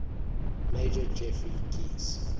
major geoffrey keyes